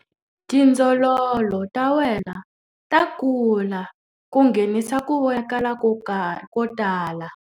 Tindzololo ta wena ta kula ku nghenisa ku vonakala ko tala.